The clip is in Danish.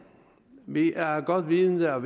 vi er godt vidende om